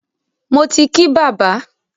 Mo ti kí bàbá.